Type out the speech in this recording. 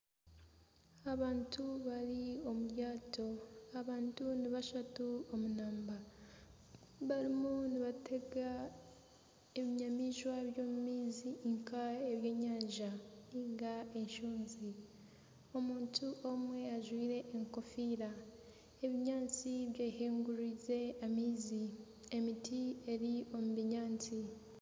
Abantu bari omu ryato. Abantu ni bashatu omu namba. Barimu nibatega ebinyamaishwa by'omu maizi nk'ebyenyanja nainga enshonzi. Omuntu omwe ajwaire enkofiira. Ebinyaatsi byehinguririze amaizi. Emiti eri omu binyaatsi.